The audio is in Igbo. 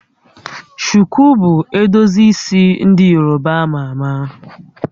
Shuku bụ edozi isi ndị Yoruba a ma ama